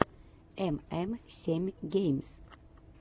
эм эм семь геймс